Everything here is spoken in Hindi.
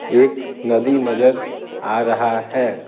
एक नदी नजर आ रहा है।